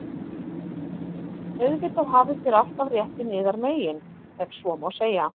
Auðvitað hafið þér alltaf réttinn yðar megin,- ef svo má segja.